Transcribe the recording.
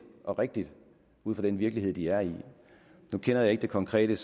og rigtigt ud fra den virkelighed de er i nu kender jeg ikke det konkrete